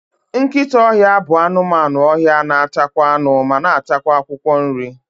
Nkịta ọhịa bụ anụmanụ ọhịa na atakwa anụ, ma na atakwa akwụkwọ nri